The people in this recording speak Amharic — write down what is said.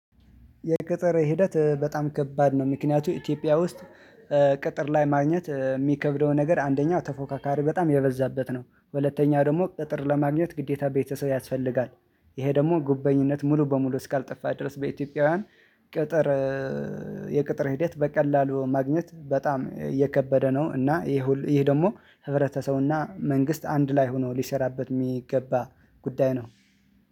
የቅጥር ሂደት በጣም ከባድ ነው። ምክንያቱም ኢትዮጵያ ውስጥ ቅጥር ለማግኘት የሚከብደው ነገር አንደኛው ተፎካካሪ በጣም የበዛበት ነው ሁለተኛ ደግሞ ቅጥር ለማግኘት ግዴታ ቤተሰብ ያስፈልጋል። ይሄ ደግሞ ጉበኝነት ሙሉ በሙሉ እስካልጠፋ ድረስ በኢትዮጵያውያን። ቅጥር የቅጥር ሂደት በቀላሉ ማግኘት በጣም የከበደ ነው። እና ይሄ ይሄ ደግሞ ህብረተሰብና መንግስት አንድ ላይ ሆኖ ሊሰራበት የሚገባ ጉዳይ ነው።